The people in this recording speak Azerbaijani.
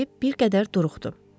deyib bir qədər duruxdu.